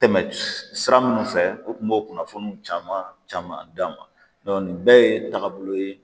Tɛmɛn sira minnu fɛ u kun b'o kunnafoniw caman caman d'an ma nin bɛɛ ye tagabolo ye